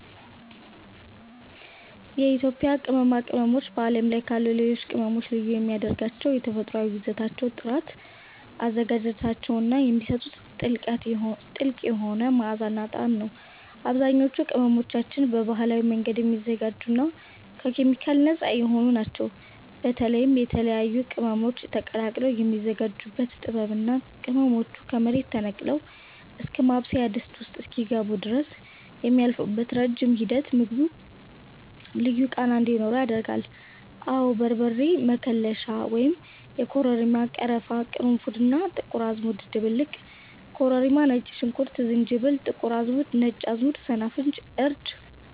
የኢትዮጵያ ቅመማ ቅመሞች በዓለም ላይ ካሉ ሌሎች ቅመሞች ልዩ የሚያደርጋቸው የተፈጥሮአዊ ይዘታቸው ጥራት፣ አዘገጃጀታቸው እና የሚሰጡት ጥልቅ የሆነ መዓዛና ጣዕም ነው። አብዛኞቹ ቅመሞቻችን በባህላዊ መንገድ የሚዘጋጁና ከኬሚካል ነፃ የሆኑ ናቸው። በተለይም የተለያዩ ቅመሞች ተቀላቅለው የሚዘጋጁበት ጥበብ እና ቅመሞቹ ከመሬት ተነቅለው እስከ ማብሰያ ድስት ውስጥ እስኪገቡ ድረስ የሚያልፉበት ረጅም ሂደት ምግቡ ልዩ ቃና እንዲኖረው ያደርጋል። አወ በርበሬ መከለሻ (የኮረሪማ፣ ቀረፋ፣ ቅርንፉድ እና ጥቁር አዝሙድ ድብልቅ) ኮረሪማ ነጭ ሽንኩርት ዝንጅብል ጥቁር አዝሙድ ነጭ አዝሙድ ሰናፍጭ እርድ